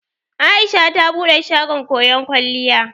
Aisha ta bude shagon koyon kwalliya.